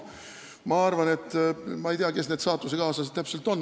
Ma ei tea, kes need saatusekaaslased täpselt on.